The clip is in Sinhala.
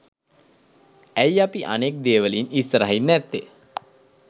ඇයි අපි අනෙක් දේවලින් ඉස්සරහින් නැත්තෙ?